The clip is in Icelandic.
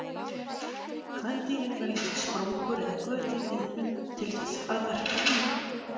Kvendýrin velja sér sprungur eða göt í viðnum til þess að verpa í.